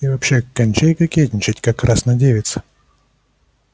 и вообще кончай кокетничать как красна девица